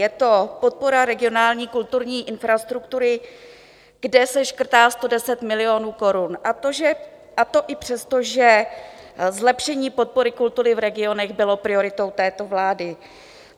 Je to podpora regionální kulturní infrastruktury, kde se škrtá 110 milionů korun, a to i přesto, že zlepšení podpory kultury v regionech bylo prioritou této vlády.